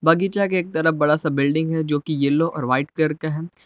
बगीचा के एक तरफ बड़ा सा बिल्डिंग है जोकि येलो और वाइट कलर के है।